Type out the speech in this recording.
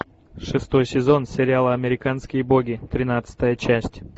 шестой сезон сериала американские боги тринадцатая часть